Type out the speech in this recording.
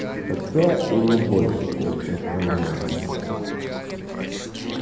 хотя и не больше чем всё остальное